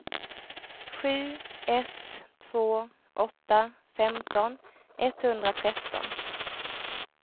sju ett två åtta femton etthundratretton